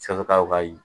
ka